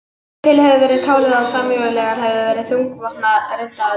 Hingað til hefur verið talið að samúræjar hefðu verið þungvopnað riddaralið.